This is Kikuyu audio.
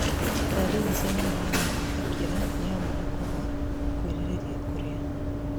Ndariri cia mũrimũ wa gwĩthikĩra nĩ hamwe na kwaga kwĩrirĩria kũrĩa,